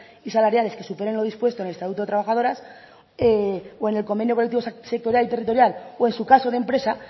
y salariales que superen lo dispuesto en el estatuto de los trabajadoras o en el convenio colectivo sectorial y territorial o en su caso de empresa